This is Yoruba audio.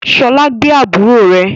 Ṣọlá gbé àbúrò rẹ